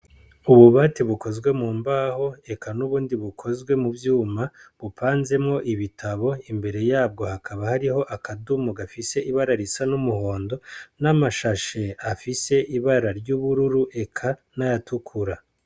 Ububati bukozwe mumbaho ,eka n'ubundi bukozwe muvyuma ,bupanzemwo ibitabo ,imbere yabwo hakaba hariho akadomo gafise ibara risa n'umuhondo, namashashe afise ibara ry'ubururu eka nayatukura.